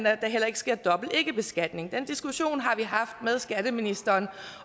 at der heller ikke sker dobbelt ikkebeskatning den diskussion har vi haft med skatteministeren